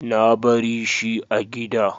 Na bari shi a gida.